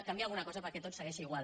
canvia alguna cosa perquè tot segueix igual